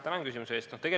Tänan küsimuse eest!